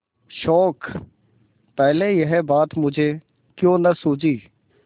शोक पहले यह बात मुझे क्यों न सूझी